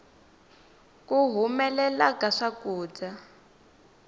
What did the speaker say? ku humelela ka swakudya